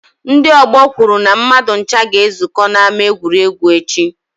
Ndị ọgbọ kwuru na mmadụ ncha ga-ezukọ n'ama egwuregwu echi.